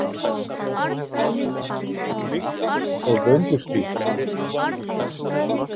Líkt og göngustíg